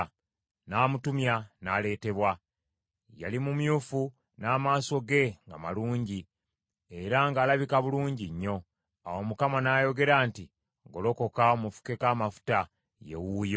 N’amutumya, n’aleetebwa. Yali mumyufu, n’amaaso ge nga malungi, era ng’alabika bulungi nnyo. Awo Mukama n’ayogera nti, “Golokoka omufukeko amafuta; ye wuuyo.”